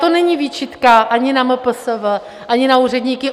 To není výčitka ani na MPSV, ani na úředníky.